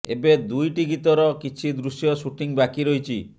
ଏବେ ଦୁଇଟି ଗୀତର କିଛି ଦୃଶ୍ୟ ସୁଟିଂ ବାକି ରହିଛି